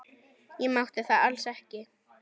Ég mátti það alls ekki.